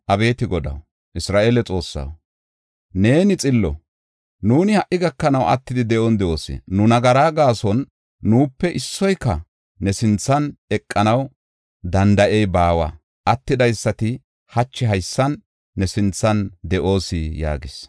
Abeeti Godaw, Isra7eele Xoossaw, neeni xillo; nuuni ha77i gakanaw attidi de7on de7oos. Nu nagaraa gaason nuupe issoyka ne sinthan eqanaw danda7ey baawa; attidaysati hachi haysan ne sinthan de7oos” yaagas.